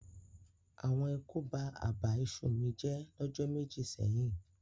Awon eku ba àbà iṣu mi jẹ́ lọ́jọ́ méjì sẹ́yìn.